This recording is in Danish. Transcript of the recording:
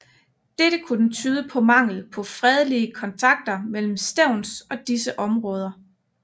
Dette kunne tyde på mangel på fredelige kontakter mellem Stevns og disse områder